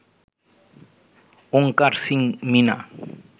Onkar Singh Mina